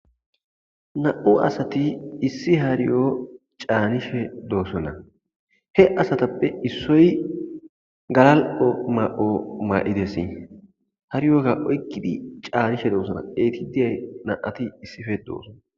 Na'u asati issi hariyo caanishe doosona he asatappe issoy galal'o ma'o maa'idesi hariyoka oykkidi caanishe doosona eyti diyay na'ati issife doossona.